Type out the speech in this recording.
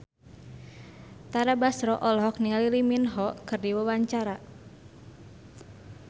Tara Basro olohok ningali Lee Min Ho keur diwawancara